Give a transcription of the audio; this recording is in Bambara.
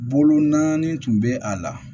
Bolo naani tun bɛ a la